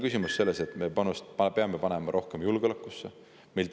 Küsimus on selles, et me peame panema rohkem julgeolekusse.